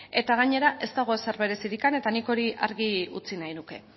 eta gainera ez dago zerbait berezirik eta nik hori argi utzi nahiko nuke